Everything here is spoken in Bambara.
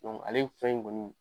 ale fɛn in kɔni